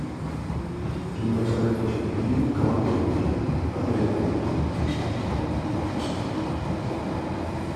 кинематографический фильм коматозники посоветуй мне